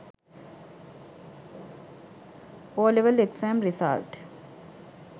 OL exam result